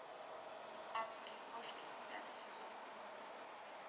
адские кошки пятый сезон